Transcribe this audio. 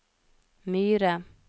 Myre